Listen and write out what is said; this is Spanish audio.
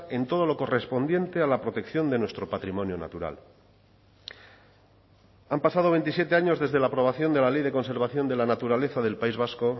en todo lo correspondiente a la protección de nuestro patrimonio natural han pasado veintisiete años desde la aprobación de la ley de conservación de la naturaleza del país vasco